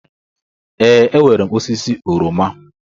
Ee, enwere m osisi oroma.